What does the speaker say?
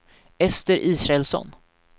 Ester Israelsson